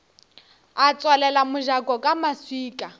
a tswalela mojako ka maswika